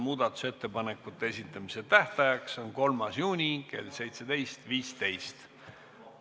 Muudatusettepanekute esitamise tähtaeg on 3. juuni kell 17.15.